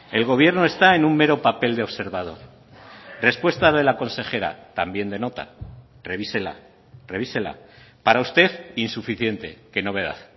el gobierno está en un mero papel de observador respuesta de la consejera también de nota revísela revísela para usted insuficiente qué novedad